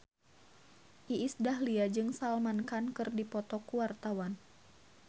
Iis Dahlia jeung Salman Khan keur dipoto ku wartawan